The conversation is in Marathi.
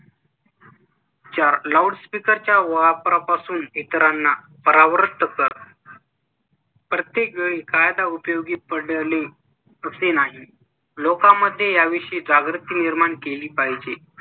चार loudspeaker च्या वापरापासून इतरांना परावृत्त कर प्रत्येक वेळी कायदा उपयोगी पडले असे नाही. लोकांमध्ये याविषयी जागृती निर्माण केली पाहिजे.